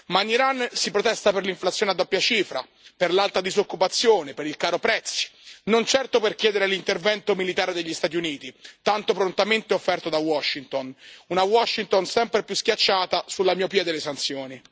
Ma in Iran si protesta per l'inflazione a doppia cifra, per l'alta disoccupazione, per il caro prezzi, non certo per chiedere l'intervento militare degli Stati Uniti, tanto prontamente offerto da Washington, una Washington sempre più schiacciata sulla miopia delle sanzioni.